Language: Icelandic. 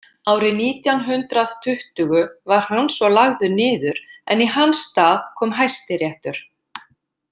Árið nítján hundrað tuttugu var hann svo lagður niður en í hans stað kom Hæstiréttur.